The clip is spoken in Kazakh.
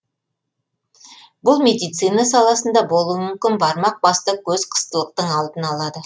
бұл медицина саласында болуы мүмкін бармақ басты көз қыстылықтың алдын алады